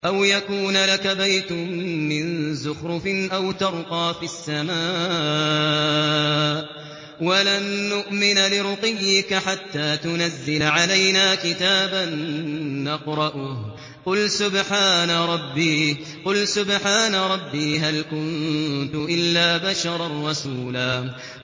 أَوْ يَكُونَ لَكَ بَيْتٌ مِّن زُخْرُفٍ أَوْ تَرْقَىٰ فِي السَّمَاءِ وَلَن نُّؤْمِنَ لِرُقِيِّكَ حَتَّىٰ تُنَزِّلَ عَلَيْنَا كِتَابًا نَّقْرَؤُهُ ۗ قُلْ سُبْحَانَ رَبِّي هَلْ كُنتُ إِلَّا بَشَرًا رَّسُولًا